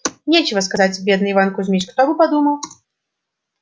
нечего сказать бедный иван кузмич кто бы подумал